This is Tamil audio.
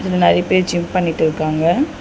இங்க நெறைய பேர் ஜிம் பண்ணிட்டு இருக்காங்க.